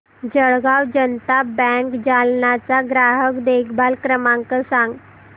Jalgaon Janata bank Jalna चा ग्राहक देखभाल क्रमांक सांग